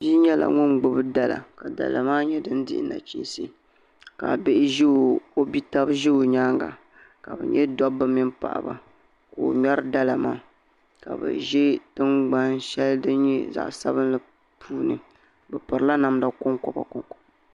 Bia nyɛla ŋun gbubi dala ka dala maa nyɛ din dihi nachiinsi ka o bia tabi ʒi o nyaanga ka bi nyɛ dabba mini paɣaba kq o ŋmɛri dala maa ka bi ʒi tingbani shɛli din nyɛ zaɣ sabinli puuni bi pirila namdi konkoba